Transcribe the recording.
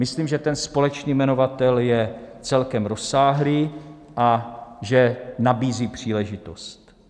Myslím, že ten společný jmenovatel je celkem rozsáhlý a že nabízí příležitost.